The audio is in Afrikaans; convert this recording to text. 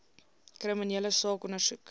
kriminele saak ondersoek